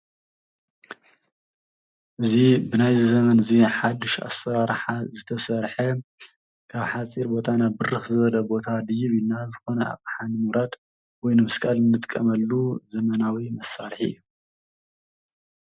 እዚ ብናይዚ ዘመን እዚ ሓዱሽ ኣሰራርሓ ዝተሰርሐ ካብ ሓፂር ቦታ ናብ ብርኽ ዝበለ ቦታ ድይብ ኢልና ዝኮነ ኣቕሓ ንምውራድ ወይ ንምስቃል እንጥቀምሉ ዘመናዊ መሳርሒ እዩ፡፡